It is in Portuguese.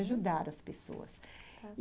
Ajudar as pessoas.